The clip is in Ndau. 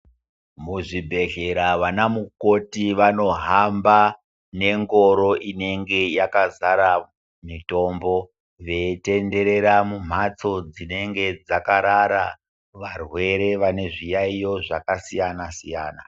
Muzvibhedhlera vanamukoti vanohamba nengoro inenge yakazara mitombo veitenderera mumhatso dzinenge dzakarara varwere vane zviyaiyo zvakasiyana siyana.